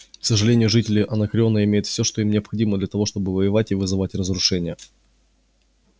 к сожалению жители анакреона имеют всё что им необходимо для того чтобы воевать и вызывать разрушения